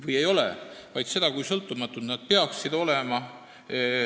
See ei ole ka, ma arvan, Eestis mingi probleem, aga küsimus võib tekkida hoopis vastupidisest.